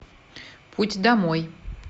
путь домой